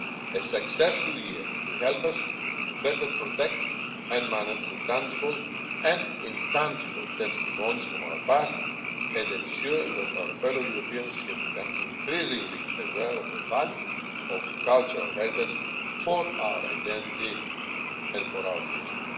A successful year will help us to better protect and manage tangible and intangible testimonies from our past and ensure that our fellow Europeans become increasingly aware of the value of cultural heritage for our identity and for our future.